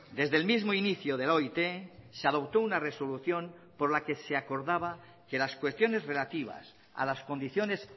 desde el mismo inicio de la oit se adoptó una resolución por la que se acordaba que las cuestiones relativas a las condiciones